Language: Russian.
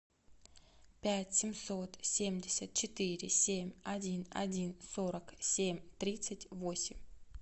пять семьсот семьдесят четыре семь один один сорок семь тридцать восемь